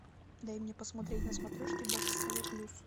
дай мне посмотреть на смотрешке бокс тв плюс